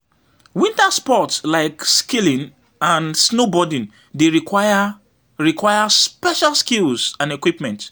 Winter sports, like skiing and snowboarding, dey require require special skills and equipment.